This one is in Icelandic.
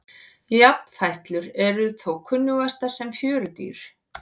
Jafnfætlur eru þó kunnugastar sem fjörudýr.